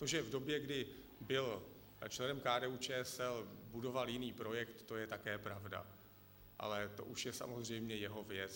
To, že v době, kdy byl členem KDU-ČSL, budoval jiný projekt, to je také pravda, ale to už je samozřejmě jeho věc.